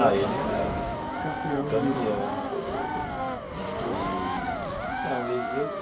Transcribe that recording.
Ah, ele era. Campeão. Campeão eh né eee então e eu.